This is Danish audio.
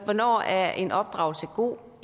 hvornår er en opdragelse god